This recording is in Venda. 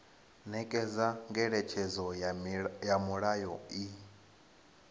nekedza ngeletshedzo ya mulayo i